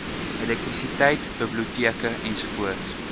elektrisiteit biblioteke ens